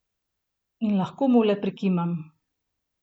In lahko mu le prikimam!